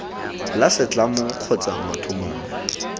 la setlamo kgotsa motho mongwe